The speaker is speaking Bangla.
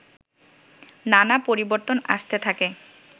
নানা পরিবর্তন আসতে থাকে